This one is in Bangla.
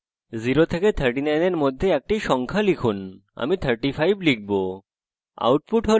0 থেকে 39 এর মধ্যে একটি সংখ্যা লিখুন আমি 35 লিখব